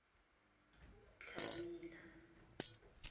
tlamela